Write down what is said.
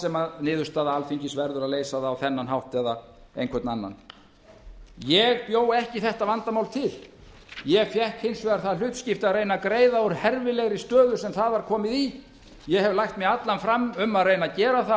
sem niðurstaða alþingis verður að leysa það á þennan hátt eða einhvern anna ég bjó ekki þetta vandamál til ég fékk hins vegar það hlutskipti að reyna að greiða úr herfilegri stöðu sem það var komið í ég hef lagt mig allan fram um að reyna að gera það